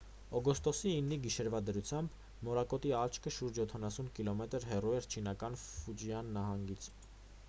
օգոստոսի 9-ի գիշերվա դրությամբ մորակոտի աչքը շուրջ յոթանասուն կիլոմետր հեռու էր չինական ֆուջիան նահանգից